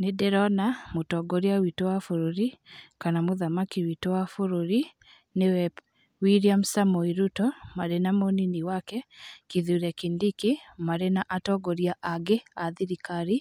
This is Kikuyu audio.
Nĩ ndĩrona mũtongoria wĩtũ wa bũrũri kana mũthamaki wĩtũ wa bũrũri nĩwe Wilam Samoei Ruto, marĩ na munini wake, Kithure Kindiki marĩ na atongoria angĩ a thirikari.